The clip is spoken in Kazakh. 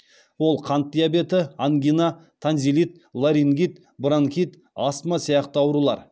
ол қант диабеті ангина танзилит ларингит бронхит астма сияқты аурулар